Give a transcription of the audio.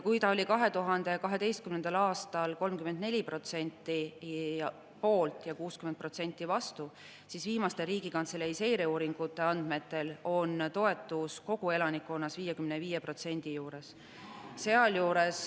Kui 2012. aastal oli 34% poolt ja 60% vastu, siis viimaste Riigikantselei seireuuringute andmetel on toetus kogu elanikkonna seas 55% juures.